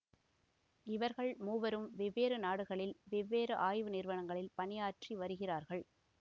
இவர்கள் மூவரும் வெவ்வேறு நாடுகளில் வெவ்வேறு ஆய்வு நிறுவனங்களில் பணியாற்றி வருகிறார்கள்